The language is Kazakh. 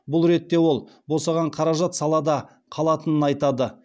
бұл ретте ол босаған қаражат салада қалатынын айтады